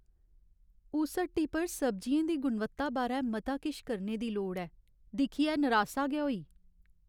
उस हट्टी पर सब्जियें दी गुणवत्ता बारै मता किश करने दी लोड़ ऐ। दिक्खियै नरासा गै होई।